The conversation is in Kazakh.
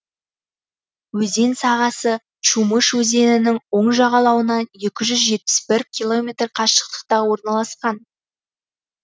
өзен сағасы чумыш өзенінің оң жағалауынан екі жүз жетпіс бір километр қашықтықта орналасқан